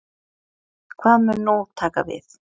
Hvað mun nú taka við?